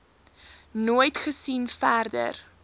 nooit gesien verder